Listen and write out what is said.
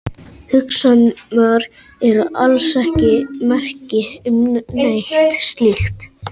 Hugsanirnar eru alls ekki merki um neitt slíkt.